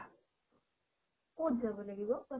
কত যাব লাগিব কোৱাচোন?